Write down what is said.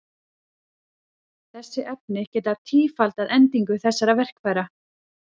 Þessi efni geta tífaldað endingu þessara verkfæra.